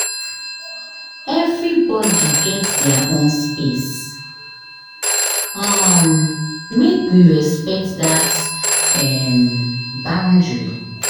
Everybodi get their own space, um make we respect dat um boundary.